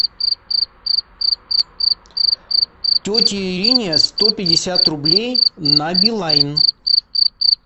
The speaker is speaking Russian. тете ирине сто пятьдесят рублей на билайн